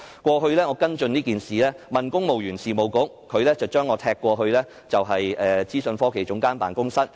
過去，我跟進這件事，向公務員事務局查詢，它將我"踢"到政府資訊科技總監辦公室。